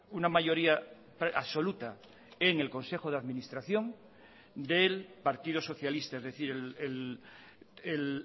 una mayoría absoluta en el consejo de administración del partido socialista es decir el